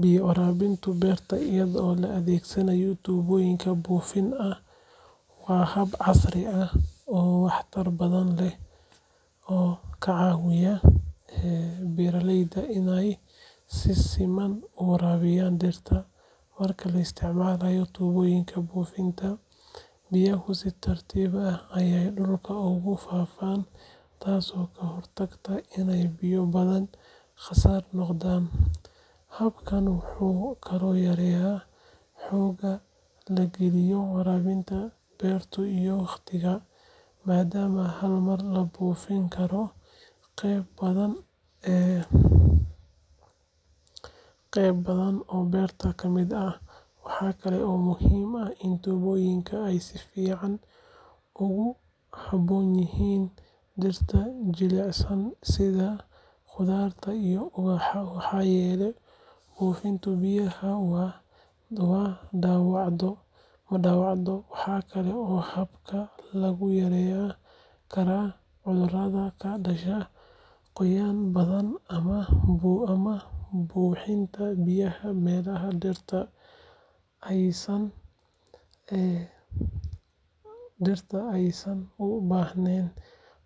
Biyaha waraabinta beerta iyadoo la adeegsanayo tuubooyin buufin ah waa hab casri ah oo waxtar badan leh oo ka caawiya beeraleyda inay si siman u waraabiyaan dhirta. Marka la isticmaalo tuubooyinka buufinta, biyaha si tartiib ah ayay dhulka ugu faafaan taasoo ka hortagta inay biyo badani khasaar noqdaan. Habkan wuxuu kaloo yareeyaa xoogga la geliyo waraabinta beerta iyo waqtiga, maadaama hal mar la buufin karo qaybo badan oo beerta ka mid ah. Waxa kale oo muhiim ah in tuubooyinkan ay si fiican ugu habboon yihiin dhirta jilicsan sida khudaarta iyo ubaxa maxaa yeelay buufinta biyaha ma dhaawacdo. Waxaa kale oo habkan lagu yareyn karaa cudurrada ka dhasha qoyaan badan ama buuxinta biyaha meelaha dhirta aysan u baahnayn.